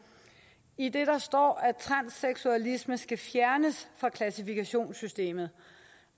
idet der står at transseksualisme skal fjernes fra klassifikationssystemet